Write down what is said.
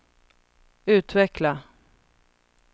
utveckla